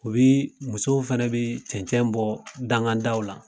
U bi musow fɛnɛ bi cɛncɛn bɔ dangada la